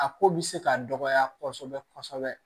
A ko bɛ se ka dɔgɔya kosɛbɛ kosɛbɛ